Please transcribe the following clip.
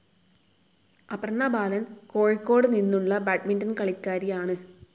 അപർണ ബാലൻ, കോഴിക്കോദുനിന്നുള്ള ബാഡ്മിന്റൺ കാളിക്കാരിയാണു.